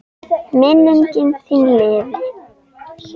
Minning þín lifir.